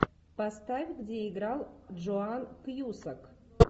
поставь где играл джоан кьюсак